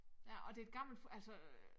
Ja og det et gammelt altså øh